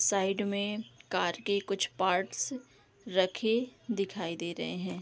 Side में car के कुछ पार्ट्स रखे दिखाई दे रहें हैं।